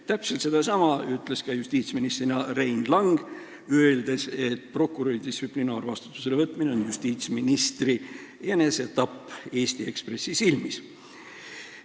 Täpselt sedasama ütles justiitsministrina ka Rein Lang, öeldes, et prokuröri distsiplinaarvastutusele võtmine on justiitsministri enesetapp Eesti Ekspressi silmis.